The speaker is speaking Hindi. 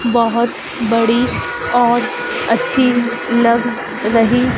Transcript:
बहुत बड़ी और अच्छी लग रही--